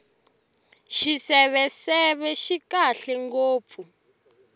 xiseveseve xi kahle ngopfu